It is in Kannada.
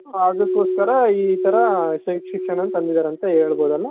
ಅದುಕ್ಕೊಸ್ಕರ ಈ ರೀತಿ ಶಿಕ್ಷಣ ತಂದಿದಾರೆ ಅಂತ ಹೇಳ್ಬಹುದು ಅಲ್ವ